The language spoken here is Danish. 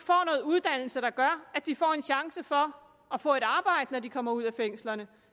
uddannelse der gør at de får en chance for at få et arbejde når de kommer ud af fængslerne